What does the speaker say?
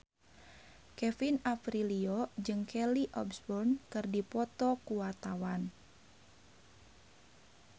Kevin Aprilio jeung Kelly Osbourne keur dipoto ku wartawan